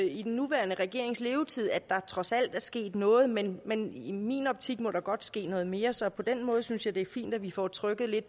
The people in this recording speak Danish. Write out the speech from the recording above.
i den nuværende regerings levetid at der trods alt er sket noget men men i min optik må der godt ske noget mere så på den måde synes jeg det er fint at vi får trykket